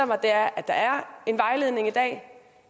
mig er at der er en vejledning i dag